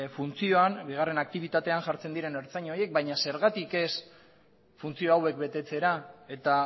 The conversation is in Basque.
funtzioan bigarren aktibitatean jartzen diren ertzain horiek baina zergatik ez funtzio hauek betetzera eta